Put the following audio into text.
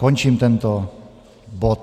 Končím tento bod.